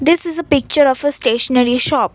this is a picture of a stationery shop.